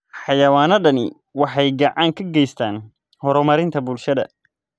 Xayawaanadani waxay gacan ka geystaan ??horumarinta bulshada.